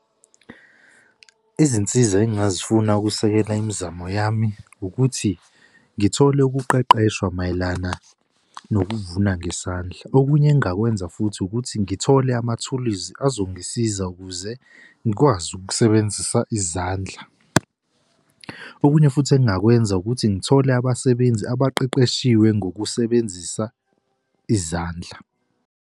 Izinsiza engingazifuna ukusekela imizamo yami ukuthi ngithole ukuqeqeshwa mayelana nokuvuna ngesandla. Okunye engingakwenza futhi ukuthi ngithole amathulizi azongisiza ukuze ngikwazi ukusebenzisa izandla. Okunye futhi engingakwenza ukuthi ngithole abasebenzi abaqeqeshiwe ngokusebenzisa izandla.